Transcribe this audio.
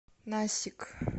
насик